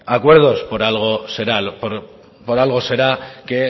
acuerdos por algo será por algo será que